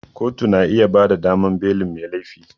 Kotu na iya bada damar belin mai laifi